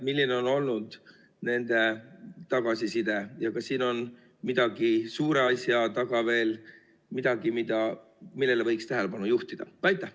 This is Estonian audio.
Milline on olnud pankade tagasiside ja kas siin on suure asja taga veel midagi, millele võiks tähelepanu juhtida?